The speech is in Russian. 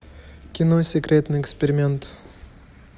кино секретный эксперимент